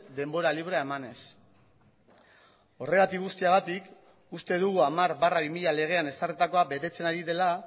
denbora librea emanez horregatik guztiagatik uste dugu hamar barra bi mila legean ezarritakoa betetzen ari dela